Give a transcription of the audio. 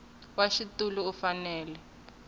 wa xitulu u fanele ku